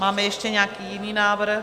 Máme ještě nějaký jiný návrh?